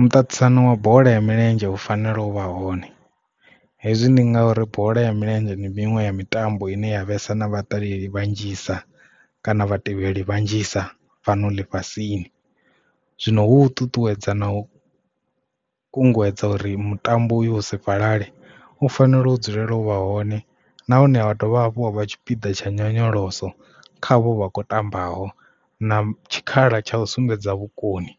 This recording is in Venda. Muṱaṱisano wa bola ya milenzhe u fanela u vha hone hezwi ndi ngauri bola ya milenzheni ndi miṅwe ya mitambo ine ya vhesa na vhaṱaleli vhanzhisa kana vhatevheli vhanzhisa fhano ḽifhasini zwino hu u ṱuṱuwedza na u kunguwedza uri mutambo u yu u si fhalale u fanela u dzulela u vha hone nahone vha dovha hafhu ha vha tshipiḓa tsha nyonyoloso khavho vha kho tambaho na tshikhala tsha u sumbedza vhukoni